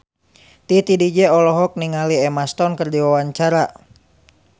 Titi DJ olohok ningali Emma Stone keur diwawancara